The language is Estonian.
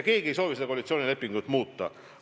Keegi ei soovi seda koalitsioonilepingut muuta.